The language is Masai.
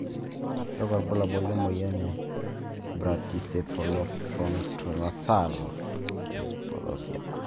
Kakwa ibulabul lemoyian e Brachycephalofrontonasal dysplasia?